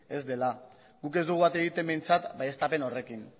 ez dela guk ez dugu bat egiten behintzat baieztapen horrekin